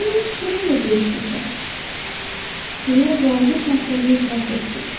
Mən öz çiçəyimlə dəyişmişəm, deyə balaca şahzadə etiraf etdi.